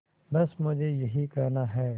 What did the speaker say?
बस मुझे यही कहना है